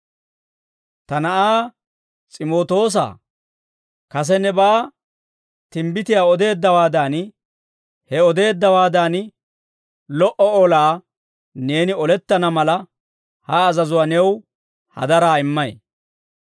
Ta na'aa S'imootoosaa, kase nebaa timbbitiyaa odeeddawaadan, he odeeddawaadan lo"o olaa neeni olettana mala, ha azazuwaa new hadaraa immay.